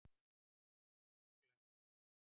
svonefnd augnglenna